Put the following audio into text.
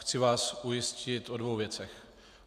Chci vás ujistit o dvou věcech.